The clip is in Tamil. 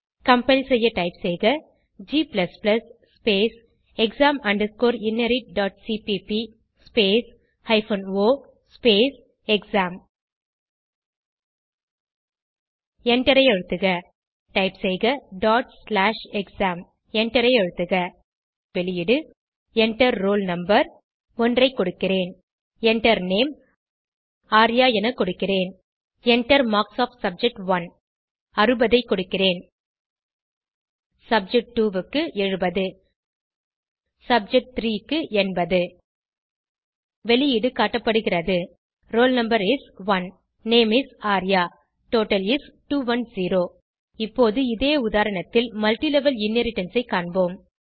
கம்பைல் செய்ய டைப் செய்க g exam inheritcpp o exam எண்டரை அழுத்துக டைப் செய்க எக்ஸாம் எண்டரை அழுத்துக இங்கே காட்டப்படும் வெளியீடு Enter ரோல் no 1 ஐ கொடுக்கிறேன் Enter Name ஆர்யா என கொடுக்கிறேன் Enter மார்க்ஸ் ஒஃப் சப்ஜெக்ட்1 60 ஐ கொடுக்கிறேன் சப்ஜெக்ட் 2 க்கு 70 சப்ஜெக் 3 க்கு 80 வெளியீடு காட்டப்படுகிறது roll no is 1 name is Arya total is 210 இப்போது இதே உதாரணத்தில் மல்ட்டிலெவல் இன்ஹெரிடன்ஸ் ஐ காண்போம்